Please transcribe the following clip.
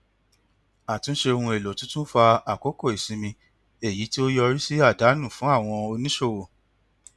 àtúnṣe ohun èlò tuntun fa àkókò ìsinmi èyí tí ó yọrí sí àdánù fún àwọn oníṣòwò